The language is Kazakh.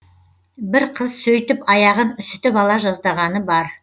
бір қыз сөйтіп аяғын үсітіп ала жаздағаны бар